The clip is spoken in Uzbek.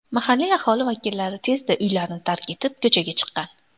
Mahalliy aholi vakillari tezda uylarni tark etib, ko‘chaga chiqqan.